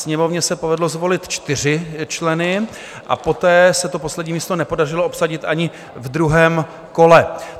Sněmovně se povedlo zvolit čtyři členy a poté se to poslední místo nepodařilo obsadit ani ve druhém kole.